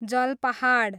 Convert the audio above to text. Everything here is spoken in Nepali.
जलपाहाड